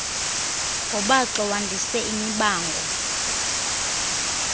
ngobaxo wandise imibango